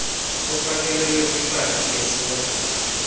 ufakelelwe kwipaki yesozwe